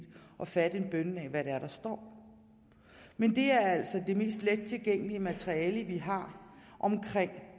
og fatte en bønne af hvad det er der står men det er altså det mest let tilgængelige materiale vi har om